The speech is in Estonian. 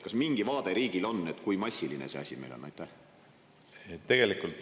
Kas mingi vaade riigil on, kui massiline see asi meil on?